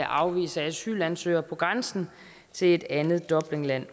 afvise asylansøgere på grænsen til et andet dublinland